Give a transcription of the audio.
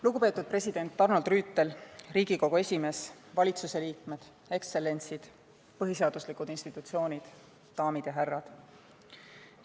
Lugupeetud president Arnold Rüütel, Riigikogu esimees, valitsuse liikmed, ekstsellentsid, põhiseaduslikud institutsioonid, daamid ja härrad!